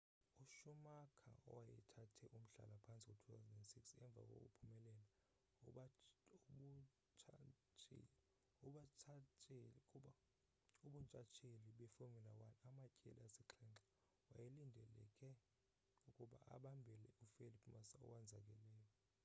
uschumacher owayethathe umhlala-phantsi ngo-2006 emva kokuphumelela ubuntshatsheli befomula 1 amatyeli asixhenxe wayelindeleke ukuba abambele ufelipe massa owonzakeleyo